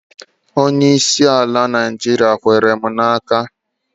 Onyeisi ala Naịjiria kwere m n'aka